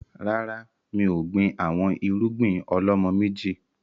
Rárá, mi ò gbìn àwọn irúgbìn ọ̀lọ́mọ méjì